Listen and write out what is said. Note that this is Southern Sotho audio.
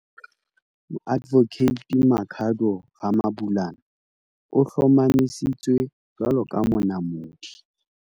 Moadvokate Makhado Ramabulana o hlomamisitswe jwalo ka Monamodi.